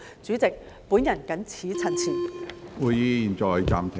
主席，我謹此陳辭。